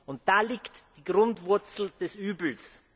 Und da liegt die Grundwurzel des Übels.